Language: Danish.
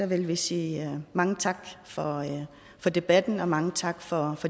vil vi sige mange tak for debatten og mange tak for